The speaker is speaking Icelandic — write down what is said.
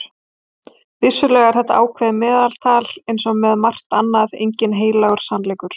Vissulega er þetta ákveðið meðaltal og eins og með margt annað enginn heilagur sannleikur.